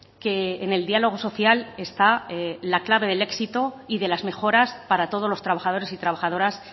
que en el diálogo social está la clave del éxito y de las mejoras para todos los trabajadores y trabajadoras